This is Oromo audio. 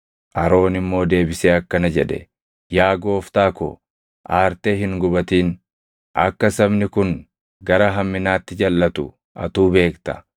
Aroon immoo deebisee akkana jedhe; “Yaa gooftaa ko, aartee hin gubatin; akka sabni kun gara hamminaatti jalʼatu atuu beekta.